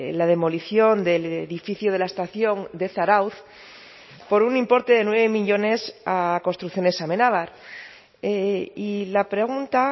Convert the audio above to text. la demolición del edificio de la estación de zarautz por un importe de nueve millónes a construcciones amenabar y la pregunta